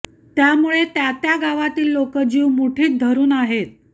त्यामुळे त्या त्या गावातील लोकं जीव मुठीत धरुन आहेत